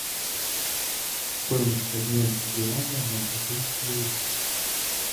стоимость обмена юаня на бразильские реалы